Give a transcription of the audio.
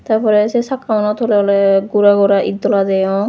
ta porey se sakka uno toley oley gora gora et dola deyong.